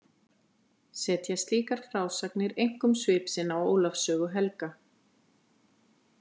Setja slíkar frásagnir einkum svip sinn á Ólafs sögu helga.